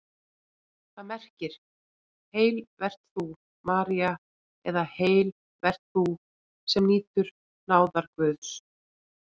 Það merkir: Heil vert þú, María eða Heil vert þú, sem nýtur náðar Guðs.